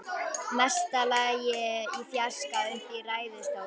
Mesta lagi í fjarska uppi í ræðustól.